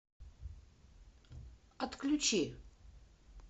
отключи